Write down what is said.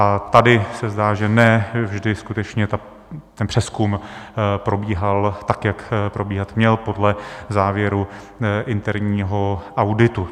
A tady se zdá, že ne vždy skutečně ten přezkum probíhal tak, jak probíhat měl, podle závěru interního auditu.